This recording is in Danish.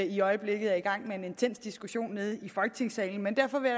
i øjeblikket er i gang med en intens diskussion nede i folketingssalen men derfor vil